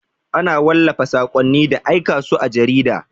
Ana wallafa saƙonni da aika su a jarida.